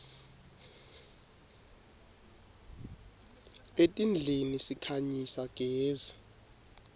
etindlini sikhanyisa gezi